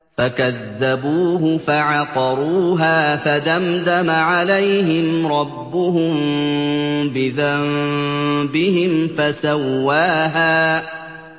فَكَذَّبُوهُ فَعَقَرُوهَا فَدَمْدَمَ عَلَيْهِمْ رَبُّهُم بِذَنبِهِمْ فَسَوَّاهَا